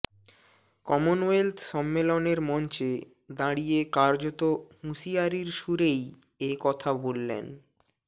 Commonwealth সম্মেলনের মঞ্চে দাঁড়িয়ে কার্যত হুঁশিয়ারির সুরেই একথা বললেন